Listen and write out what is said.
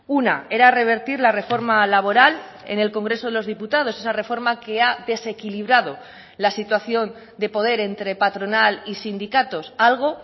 una era revertir la reforma laboral en el congreso de los diputados esa reforma que ha desequilibrado la situación de poder entre patronal y sindicatos algo